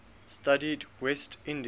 studied west indian